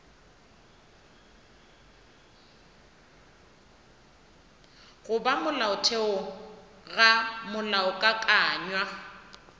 go ba molaotheong ga molaokakanywa